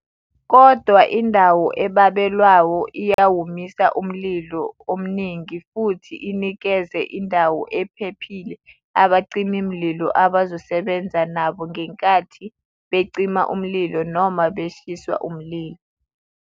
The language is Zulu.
Kodwa, indawo ebabelwayo iyawumisa umlilo omningi futhi inikeze indawo ephephile abacimi mlilo abazosebenza nabo ngenkathi becima umlilo noma beshiswa umlilo.